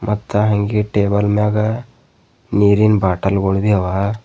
ಮತ್ತ್ ಹಂಗೆ ಟೇಬಲ್ ಮ್ಯಾಗ ನೀರಿನ ಬಾಟಲ್ ಗೋಳ ಬಿ ಅವ.